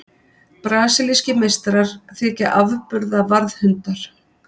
Brasilískir meistarar þykja afburða varðhundar.